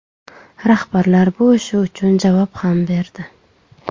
Rahbarlar bu ishi uchun javob ham berdi.